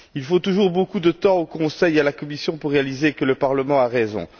Il faut toujours beaucoup de temps au Conseil et à la Commission pour constater que le Parlement a raison.